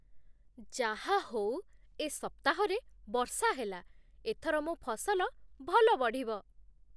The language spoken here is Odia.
ଯାହାହଉ, ଏ ସପ୍ତାହରେ ବର୍ଷା ହେଲା । ଏଥର ମୋ ଫସଲ ଭଲ ବଢ଼ିବ ।